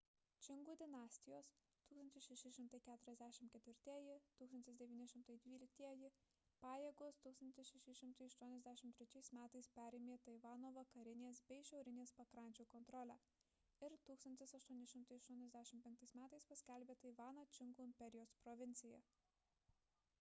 čingų dinastijos 1644–1912 pajėgos 1683 m. perėmė taivano vakarinės bei šiaurinės pakrančių kontrolę ir 1885 m. paskelbė taivaną čingų imperijos provincija